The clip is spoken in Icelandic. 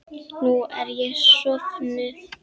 Nú er ég sofnuð.